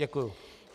Děkuji.